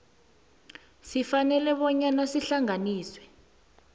sifanele bona sihlanganiswe